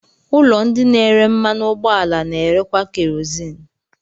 Ụlọ ndị na-ere mmanụ ụgbọala na-erekwa kerozini.